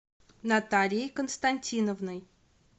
натальей константиновной